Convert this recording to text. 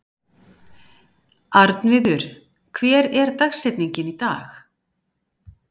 Arnviður, hver er dagsetningin í dag?